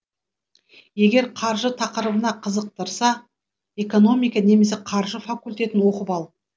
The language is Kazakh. егер қаржы тақырыбы қызықтырса экономика немесе қаржы факультетін оқып ал